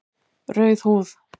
Rauð húð